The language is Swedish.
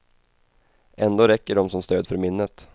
Ändå räcker de som stöd för minnet.